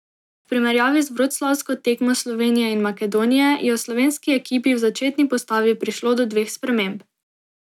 V primerjavi z vroclavsko tekmo Slovenije in Makedonije je v slovenski ekipi v začetni postavi prišlo do dveh sprememb.